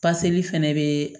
Paseli fɛnɛ bɛ